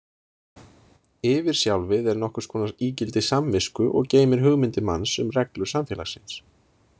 Yfirsjálfið er nokkurs konar ígildi samvisku og geymir hugmyndir manns um reglur samfélagsins.